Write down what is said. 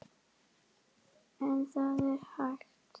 En það er hægt.